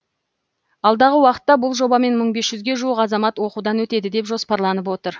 алдағы уақытта бұл жобамен мың бес жүзге жуық азамат оқудан өтеді деп жоспарланып отыр